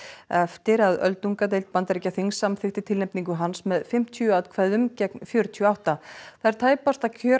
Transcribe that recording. eftir að öldungadeild Bandaríkjaþings samþykkti tilnefningu hans með fimmtíu atkvæðum gegn fjörutíu og átta það er tæpasta kjör